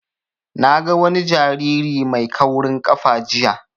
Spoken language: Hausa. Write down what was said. Na ga wani jariri mai kaurin ƙafa jiya